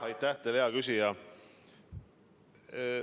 Aitäh teile, hea küsija!